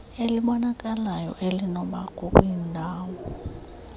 elibonakalayo nelinokubakho kwindalo